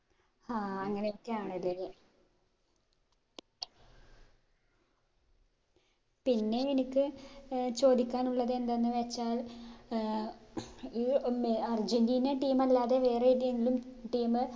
ഹാ അങ്ങനൊക്കെയാണ് അല്ലെ പിന്നേ എനിക്ക് ഏർ ചോദിക്കാനുള്ളത് എന്തെന്ന് വെച്ചാൽ ഏർ ഈ മെ അർജന്റീന team അല്ലാതെ വേറെ ഏതേങ്കിലും team